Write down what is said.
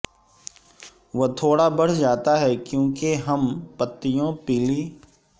وہ تھوڑا بڑھ جاتا ہے کیونکہ کم پتیوں پیلی